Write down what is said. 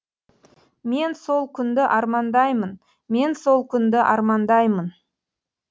мен сол күнді армандаи мын мен сол күнді армандаймын